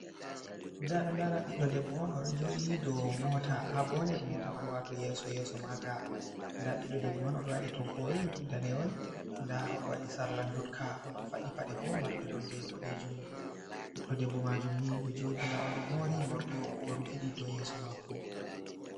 Ɗa aɗo lara ɓiɗɗo debbo on oɗo joɗi ɗow mota. Ha bonet mota man. Wato yeso yeso maga. Ɗa ɓiɗɗo debbo on oɗo waɗi toggol ɗaneyol. Ɗa oɗo waɗi sarla jutka oɗo faɗɗi paɗe bo marɗe nonɗe bodejum. Biɗɗo ɗebbo majum ni ɗo joɗi. Ɗa oɗo mori morɗi o rufidi ɗow yeso mako.